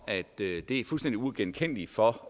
det er fuldstændig uigenkendeligt for